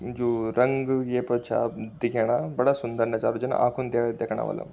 जू रंग ये पा छा दिखेणा बड़ा सुन्दर नजारू जन आखुन देख देखणा वल्ला।